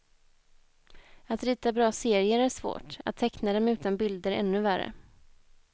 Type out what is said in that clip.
Att rita bra serier är svårt, att teckna dem utan bilder ännu värre.